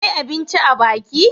Akwai abinci a biki?